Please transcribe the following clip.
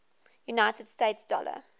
united states dollar